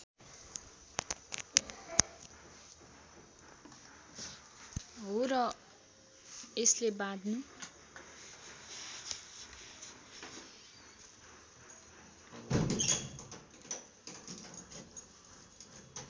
हो र यसले बाँध्नु